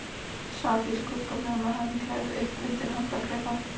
Sat í skugganum með handklæði upp undir handarkrika.